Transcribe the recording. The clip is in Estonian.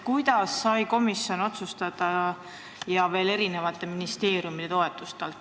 Kuidas sai komisjon seda otsustada ja veel erinevate ministeeriumide alt toetusi jagada?